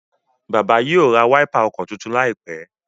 bàbá yíò rá Wáípà ọkọ títún laipe.